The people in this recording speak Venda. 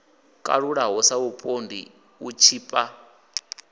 kalulaho sa vhupondi u tshipa